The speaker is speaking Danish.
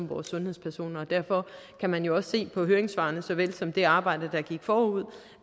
vores sundhedspersoner og derfor kan man også se på høringssvarene såvel som det arbejde der gik forud